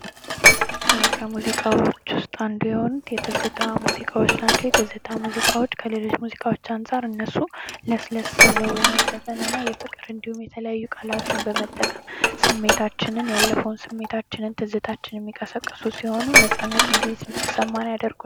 ከሙዚቃዎች ውስጥ አንድ የሆኑት የትዝታ ሙዚቃዎች ናቸው የትዝታ ሙዚቃዎች የትዝታ ሙዚቃዎች ከሌሎች ሙዚቃዎች አንጻር እነሱ ለስለስ ብለው በመዘፈንና እንዲሁም የፍቅር የተለያዩ ቃላትን በመጠቀም ያለፈውን ስሜታችንን ትዝታችንን የሚቀሰቅሱ ሲሆኑ ነፃነት እንዲሰማን ያድርጉናል።